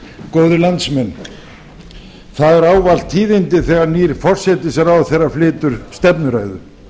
góðir landsmenn það eru ávallt tíðindi þegar nýr forsætisráðherra flytur stefnuræðu